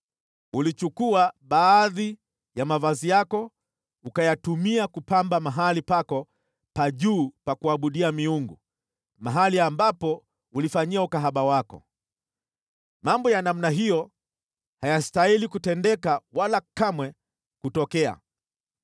Ulichukua baadhi ya mavazi yako ukayatumia kupamba mahali pako pa juu pa kuabudia miungu, mahali ambapo ulifanyia ukahaba wako. Mambo ya namna hiyo hayastahili kutendeka wala kamwe kutokea.